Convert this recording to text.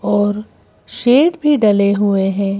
और शेड भी डले हुए हैं।